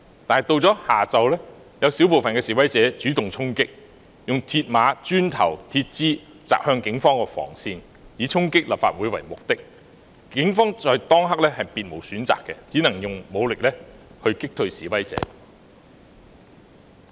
可是，到了下午，有少部分示威者主動衝擊，用鐵馬、磚頭及鐵枝擲向警方防線，以衝擊立法會為目的，警方在當刻也別無選擇，只能用武力擊退示威者。